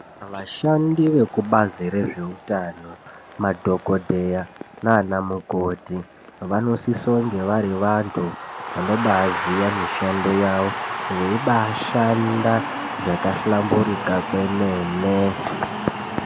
Vashandi vezvebazi rezveutano madhokodheya naana mukoti vanosisa kuva vari vantu vanobaziya mishando yavo veibashanda zvabahlamburuka kwemene.